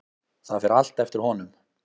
Það fer allt eftir honum.